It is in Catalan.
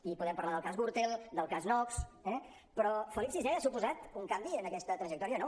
i podem parlar del cas gürtel del cas nóos eh però felip vi ha suposat un canvi en aquesta trajectòria no